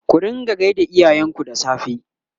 ku rinƙa gaida iyayen ku da safe!